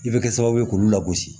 I bɛ kɛ sababu ye k'ulu lagosi